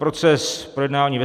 Proces projednání ve